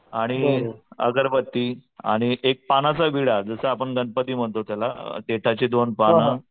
आणि अगरबत्ती आणि एक पानाचा विडा जसं आपण गणपती म्हणतो त्याला देठाची दोन पानं.